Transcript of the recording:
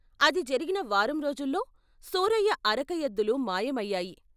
అది జరిగిన వారం రోజుల్లో సూరయ్య అరక ఎద్దులు మాయమయ్యాయి.